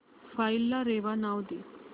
file ला रेवा नाव दे